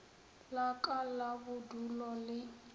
la ka la bodulo le